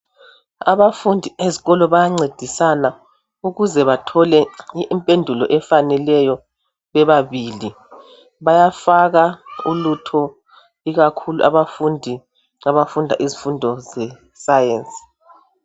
Abafundi ezikolo bayancedisana ukuze bathole impendulo efaneleyo bebabili bayafaka ulutho ikakhulu abafundi abafunda izifundo ze science.